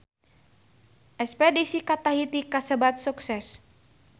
Espedisi ka Tahiti kasebat sukses